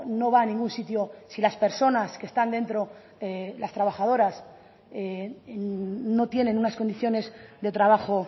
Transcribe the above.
no va a ningún sitio si las personas que están dentro las trabajadoras no tienen unas condiciones de trabajo